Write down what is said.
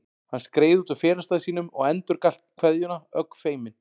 Hann skreið út úr felustað sínum og endurgalt kveðjuna, ögn feiminn.